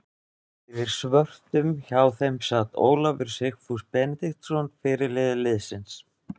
Fyrir svörtum hjá þeim sat Ólafur Sigfús Benediktsson fyrirliði liðsins.